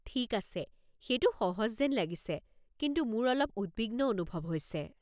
ঠিক আছে, সেইটো সহজ যেন লাগিছে কিন্তু মোৰ অলপ উদ্বিগ্ন অনুভৱ হৈছে।